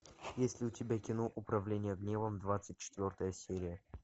есть ли у тебя кино управление гневом двадцать четвертая серия